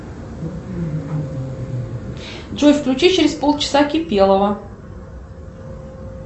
джой включи через полчаса кипелова